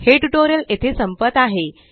हे टयूटोरियल येथे संपत आहे